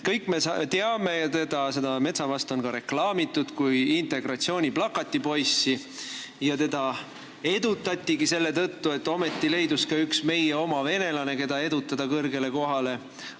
Kõik me teame, et Metsavast on reklaamitud kui integratsiooni plakatipoissi ja teda on edutatud selle tõttu, et ometi leidus üks meie oma venelane, keda panna kõrgele kohale.